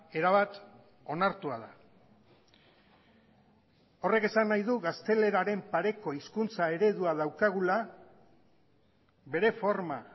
erabat onartua da horrek esan nahi du gazteleraren pareko hizkuntza eredua daukagula bere forma